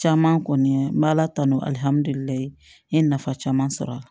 Caman kɔni ye n bɛ ala tanu n ye nafa caman sɔrɔ a la